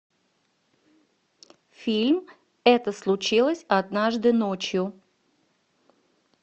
фильм это случилось однажды ночью